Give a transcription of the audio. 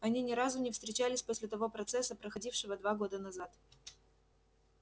они ни разу не встречались после того процесса проходившего два года назад